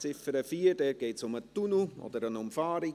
Dort geht es um den Tunnel oder um eine Umfahrung.